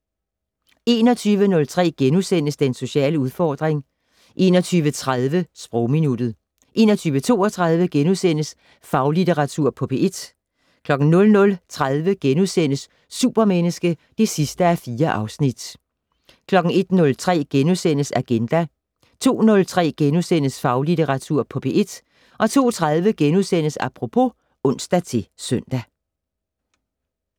21:03: Den sociale udfordring * 21:30: Sprogminuttet 21:32: Faglitteratur på P1 * 00:30: Supermenneske (4:4)* 01:03: Agenda * 02:03: Faglitteratur på P1 * 02:30: Apropos *(ons-søn)